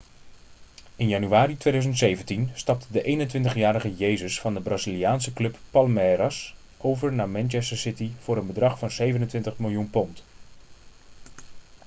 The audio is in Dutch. in januari 2017 stapte de 21-jarige jesus van de braziliaanse club palmeiras over naar manchester city voor een bedrag van £ 27 miljoen